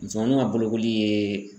Musomaninw ka bolokoli ye